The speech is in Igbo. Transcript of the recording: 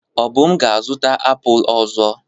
Obum ga-azụta apụl ọzọ.